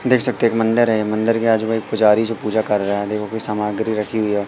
देख सकते एक मंदिर है मंदिर के आजू बाज पुजारी जो पूजा कर रहा है देखो की सामग्री रखी हुई है।